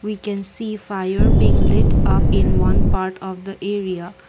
we can see fire being lit up in one part of the area.